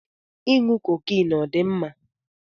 Ịṅụ cocaine ọ dị mma?